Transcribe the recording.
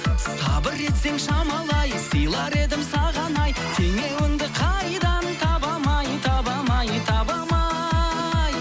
сабыр етсең шамалы ай сыйлар едім саған ай теңеуіңді қайдан табам ай табам ай табам ай